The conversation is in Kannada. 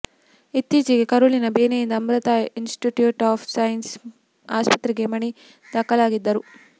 ಇತ್ತೀಚೆಗೆ ಕರುಳಿನ ಬೇನೆಯಿಂದ ಅಮೃತಾ ಇನ್ಸ್ಟಿಟ್ಯೂಟ್ ಆಫ್ ಸೈನ್ಸ್ ಆಸ್ಪತ್ರೆಗೆ ಮಣಿ ದಾಖಲಾಗಿದ್ದರು